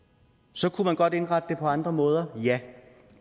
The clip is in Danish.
så kunne man godt indrette det på andre måder ja